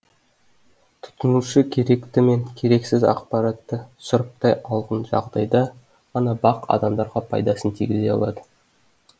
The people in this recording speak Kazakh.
тұтынушы керекті мен керексіз ақпаратты сұрыптай алғын жағдайда ғана бақ адамға пайдасын тигізе алады